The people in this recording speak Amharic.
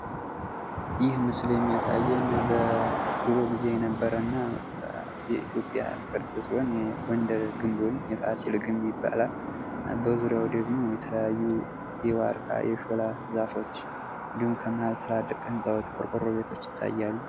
ይህ ምስል የሚያሳየን በድሮ ጊዜ የነበረ እና የኢትዮጵያ ቅርስ ሲሆን የጎንደር ወይም የፋስል ግንብ ይባላል በዙሪያው ደግሞ የተለያዩ የዋርካ የሾላ ዛፎች እንዲሁም ከመሃል ትላልቅ ህንፃዎች ቆርቆሮ ቤቶች ይታያሉ::